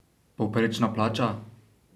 Povprečna plača?